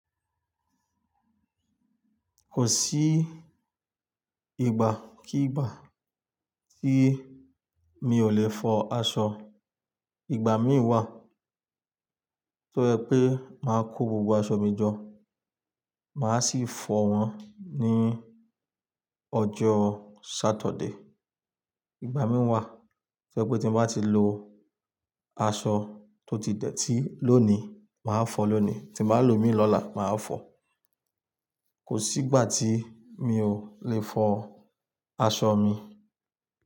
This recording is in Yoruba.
Kò sí ìgbà kí ìgbà tí mi ò le fọ aṣọ. Ìgbà mí wà tó ẹ pé máa kó gbogbo aṣọ mi jọ, màá sì fọ wọn ní ọjọ́ Saturday. Ìgbà mí wà tó ẹ pé tí mo bá ti lo aṣọ tó ti dẹ̀ tí lónìí, màá fọ̀ọ́ lónìí. Tím bá lò ó mi lọ́la, màá fọ̀ọ́. Kò sí ìgbà tí mi ò le fọ aṣọ mi.